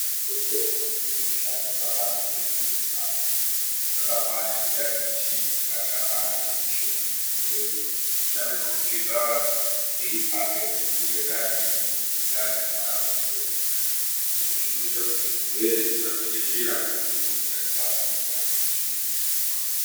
Michini yemudzibhendhlera dzinosiswa kushandiswa kamwe chete dzotorashwa. Zvakafanana nedziyani michini dzakaita sezvigero zvinoshandiswa pakuti cheka antu ethathe kutumbura ndani yemuntu uchinge ane mwana unonesa kubuda. Izvi zvinoita kuti zvirwere zvisatekeshera ngekuti umweni utachiwana hunosara pamuchini woshandiswa pamweni.